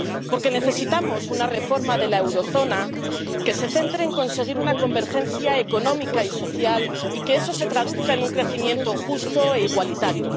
Porque necesitamos una reforma de la zona del euro que se centre en conseguir una convergencia económica y social y que eso se traduzca en un crecimiento justo e igualitario.